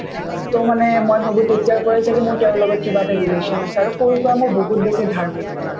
to মানে মই ভাবো তেতিয়াৰ পৰাই ছাগে মোৰ তেওঁৰ লগত কিবা এটা relation আছে আৰু সৰুৰ পৰা মোক বহুত বেছি ধাৰ্মিক মানে